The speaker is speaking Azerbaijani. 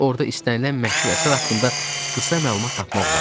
Orda istənilən məşhur əsər haqqında qısa məlumat tapmaq olar.